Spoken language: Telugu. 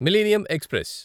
millennium express